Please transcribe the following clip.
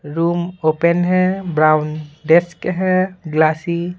room open है brown desk है glassy --